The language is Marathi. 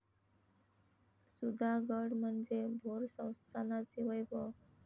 सुधागड म्हणजे भोर संस्थानाचे वैभव.